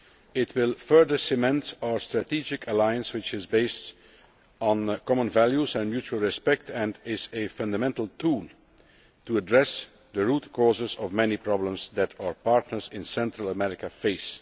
It will further cement our strategic alliance, which is based on common values and mutual respect and is a fundamental tool to address the root causes of many problems that our partners in Central America face.